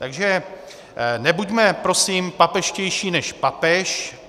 Takže nebuďme prosím papežštější než papež.